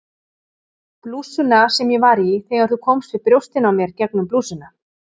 Blússuna sem ég var í þegar þú komst við brjóstin á mér gegnum blússuna